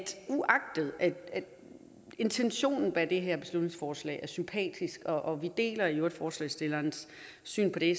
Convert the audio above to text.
uagtet at intentionen bag det her beslutningsforslag er sympatisk og vi deler i øvrigt forslagsstillerens syn på det